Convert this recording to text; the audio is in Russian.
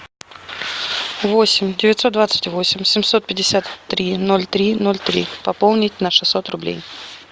восемь девятьсот двадцать восемь семьсот пятьдесят три ноль три ноль три пополнить на шестьсот рублей